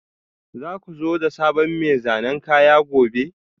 Za ku zo da sabon mai zanen kaya gobe?